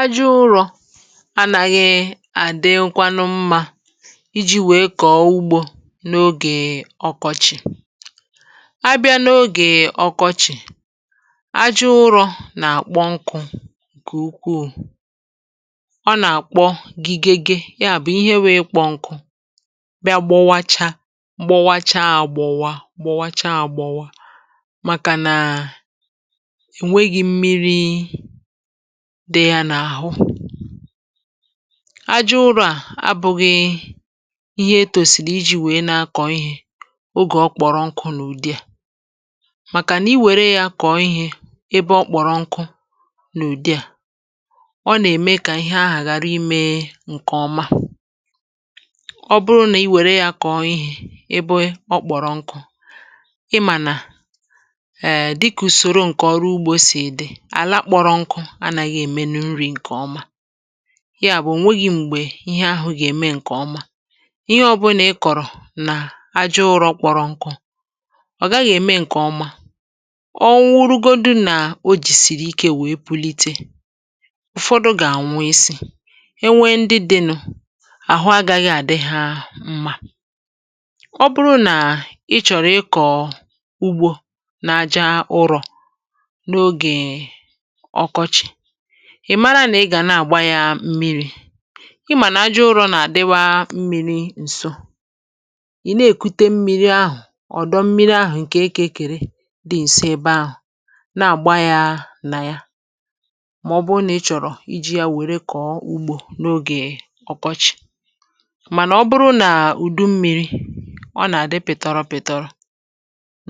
ajọ̇ ụrọ̇ anàghị àdị nkwa nụ mmȧ iji̇ wèe kọ̀ọ ugbȯ n’ogè ọkọchì abịa n’ogè ọkọchì ajọ̇ ụrọ̇ nà-àkpọ nkụ̇ kè ukwuù ọ nà-àkpọ gị gị gị ya bụ̀ ihe wèe kpọ nkụ̇ bịa gbowacha gbowachaà gbòwa gbòwacha à gbòwa màkà nà dee ya n’àhụ ajụrụ à abụ̇ghị ihe e tòsìrì iji̇ wèe na-akọ̀ ihė ogè ọ kpọrọ n’ụ̀dị à màkà nà iwère yȧ kọ̀ọ ihė ebe ọ kpọ̀rọ n’ùdị à ọ nà-ème kà ihe ahà ghàra imė um ǹkèọma ọ bụrụ nà iwère yȧ kọ̀ọ ihė ebe ọ kpọ̀rọ nkụ̇ ịmà nà èè dịkùsòro ǹkè ọrụ ugbȯ sì èdè anaghị̇ èmenu nri̇ ǹkè ọma ya bụ̀ nwogì m̀gbè ihe ahụ̇ gà-ème ǹkè ọma ihe ọbụnà ị kọ̀rọ̀ nà ajọ̇ ụrọ̇ kpọrọ̇ nkụ̇ ọ̀gaghị̇ ème ǹkè ọma ọ nwụrụgodu nà o jìsìrì ike wee pulite ụ̀fọdụ gà-ànwụ isi̇ e nwe ndị dị̇ nụ̇ àhụ agaghị̇ à dị hȧ mmȧ ọ bụrụ nà ị chọ̀rọ̀ ịkọ̀ ugbȯ n’ajȧ ụrọ̀ ị̀ mara nà ị gà nà-àgba ya mmịrị̇ ị mànà ajọụrụ nà-àdịwa mmịrị̇ ǹso ị̀ na-èkute mmịrị̇ ahụ̀ ọ̀dọ mmịrị̇ ahụ̀ ǹkè ịkọ̇rị dị ǹso ebe ahụ̀ nà-àgba ya nà ya màọbụrụ nà ị chọ̀rọ̀ iji̇ ya wère kọ̀ọ ugbȯ n’ogè ọkwọchị̇ mànà ọ bụrụ nà ùdu mmịrị̇ ọ nà-àdị pị̀tọrọ pị̀tọrọ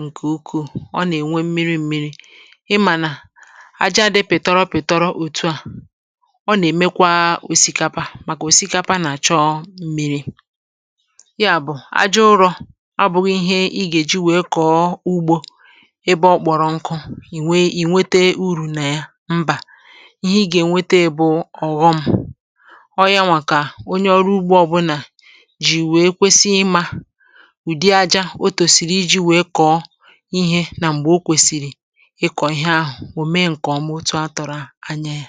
ǹkè ukwu̇ ọ nà-ènwe mmịrị mmịrị ị mànà ọ nà-èmekwa òsikapa màkà òsikapa nà-àchọọ m̀miri ya bụ̀ ajọụrụ̇ ọ bụ̀ghị̇ ihe ị gà-èji wèe kọ̀ọ ugbȯ ebe ọ kpọ̀rọ̀ nkụ ì nwete urù nà ya mbà ihe ị gà-ènwete bụ̇ ọ̀ghọm ọọ um yȧ nwà kà onye ọrụ ugbȯ ọbụnà jì wèe kwesi ịmȧ ụ̀dị ajȧ otòsìrì iji̇ wèe kọ̀ọ ihė nà m̀gbè o kwèsìrì ịkọ̀ ihe ahụ̀ anaà.